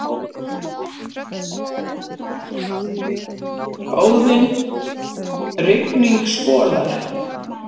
Óðinn: Rigning skolar.